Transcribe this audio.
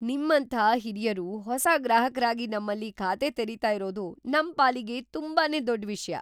ನಿಮ್ಮಂಥ ಹಿರಿಯರು ಹೊಸ ಗ್ರಾಹಕರಾಗಿ ನಮ್ಮಲ್ಲಿ ಖಾತೆ ತೆರಿತಾ ಇರೋದು ನಮ್ ಪಾಲಿಗೆ ತುಂಬಾನೇ ದೊಡ್ಡ್‌ ವಿಷ್ಯ!